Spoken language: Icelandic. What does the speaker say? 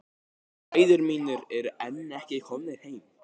Bræður mínir eru enn ekki komnir heim.